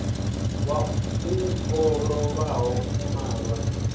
wau o lovhaho u malwa